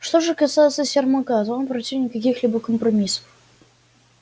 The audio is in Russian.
что же касается сермака то он противник каких-либо компромиссов